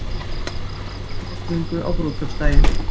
Líkur á rigningu á brúðkaupsdaginn